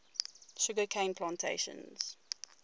sugar cane plantations